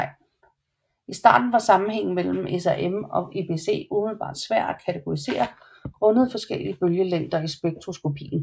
I starten var sammenhængen mellem SRM og EBC umiddelbart svær at kategorisere grundet forskellige bølgelængder i spektroskopien